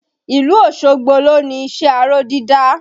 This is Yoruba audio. Ìlú Osogbo lo ni iṣẹ́ aró dídá